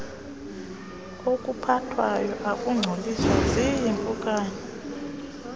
okuphathwayo akungcoliswa ziimpukane